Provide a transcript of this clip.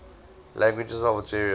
languages of algeria